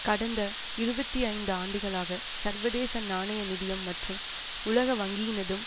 கடந்த இருபத்தி ஐந்து ஆண்டுகளாக சர்வதேச நாணய நிதியம் மற்றும் உலக வங்கியினதும்